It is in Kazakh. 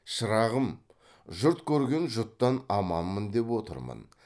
шырағым жұрт көрген жұттан аманмын деп отырмын